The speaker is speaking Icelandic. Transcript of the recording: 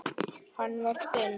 Hann var þinn.